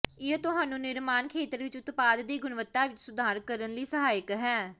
ਇਹ ਤੁਹਾਨੂੰ ਨਿਰਮਾਣ ਖੇਤਰ ਵਿਚ ਉਤਪਾਦ ਦੀ ਗੁਣਵੱਤਾ ਵਿੱਚ ਸੁਧਾਰ ਕਰਨ ਲਈ ਸਹਾਇਕ ਹੈ